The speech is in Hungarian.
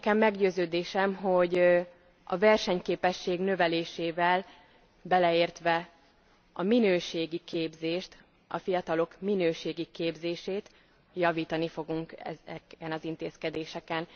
Meggyőződésem, hogy a versenyképesség növelésével beleértve a minőségi képzést, a fiatalok minőségi képzését javítani fogunk ezeken az intézkedéseken.